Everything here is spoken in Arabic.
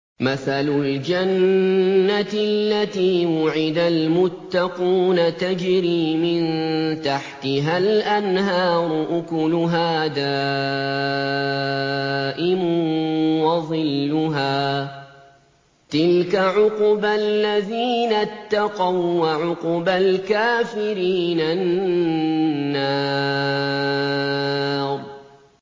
۞ مَّثَلُ الْجَنَّةِ الَّتِي وُعِدَ الْمُتَّقُونَ ۖ تَجْرِي مِن تَحْتِهَا الْأَنْهَارُ ۖ أُكُلُهَا دَائِمٌ وَظِلُّهَا ۚ تِلْكَ عُقْبَى الَّذِينَ اتَّقَوا ۖ وَّعُقْبَى الْكَافِرِينَ النَّارُ